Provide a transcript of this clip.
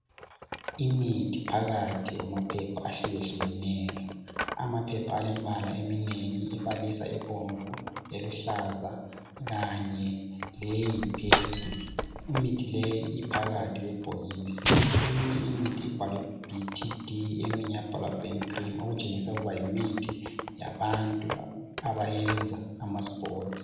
Imithi phakathi kwamaphepha ahlukehlukeneyo. Amaphepha alembala eminengi, ebalisa ebomvu, eluhlaza kanye leyi purple. Imithi leyi iphakathi kwebhokisi. Eminye imithi ibhalwe, BTD, eminye yabhalwa Burn cream. Okutshengisa uhuthi yimithi, yabantu abayenza amasports.